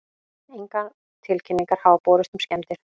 Engar tilkynningar hafa borist um skemmdir